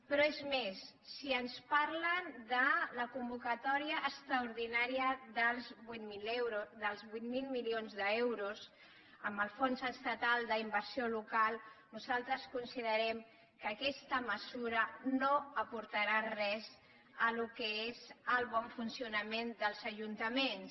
però és més si ens parlen de la convocatòria extraordinària dels vuit mil milions d’euros amb el fons estatal d’inversió local nosaltres considerem que aquesta mesura no aportarà res al que és el bon funcionament dels ajuntaments